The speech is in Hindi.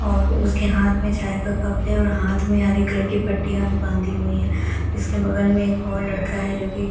और उसके हाथ में चाय का कप है और हाथ में हरे कलर की पट्टियां भी बांधी हुई है इसके बगल में एक और लड़का है जो कि--